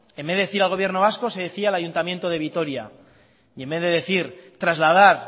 en vez de decir al gobierno vasco se decía al ayuntamiento de vitoria y en vez de decir trasladar